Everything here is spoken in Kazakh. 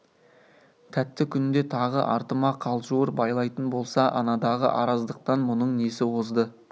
тәтті күнде тағы артыма қалжуыр байлайтын болса анадағы араздықтан мұның несі озды